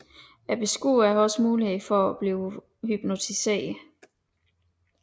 Beskueren har også mulighed for at bliver hypnotiseret